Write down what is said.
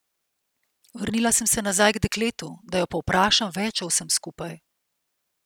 Vrnila sem se nazaj k dekletu, da jo povprašam več o vsem skupaj.